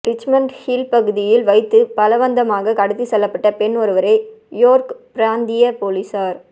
Richmond Hill பகுதியில் வைத்து பலவந்தமாக கடத்திச் செல்லப்பட்ட பெண் ஒருவரை யோர்க் பிராந்திய பொலிஸார